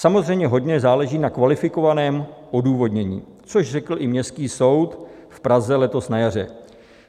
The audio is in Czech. Samozřejmě hodně záleží na kvalifikovaném odůvodnění, což řekl i Městský soud v Praze letos na jaře.